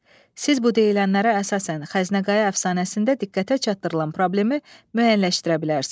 Siz bu deyilənlərə əsasən Xəzinə Qaya əfsanəsində diqqətə çatdırılan problemi müəyyənləşdirə bilərsiz.